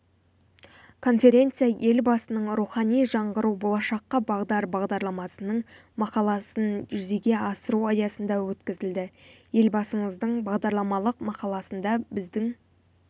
конференция елбасының рухани жаңғыру болашаққа бағдар бағдарламасының мақаласын жүзеге асыру аясында өткізілді елбасымыздың бағдарламалық мақаласында біздің